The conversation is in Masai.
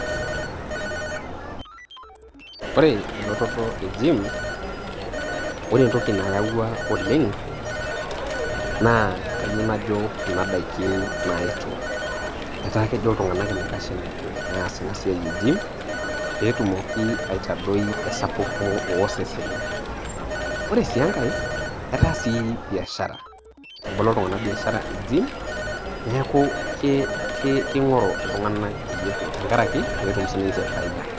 ore elototo e jiim, ore entoki nayawua oleng naa kayieu najo kuna daiki naayetuo etaa kejo iltung'anak enaikash epuo aas ina siai e jiim pee etumoki aitadoi esapuko ooseseni ore sii enkae etaa sii biashara etabolo iltung'ana biashara e jiim neeku ke keing'oru iltung'ana peepuo tenkaraki peetum siininche biashara.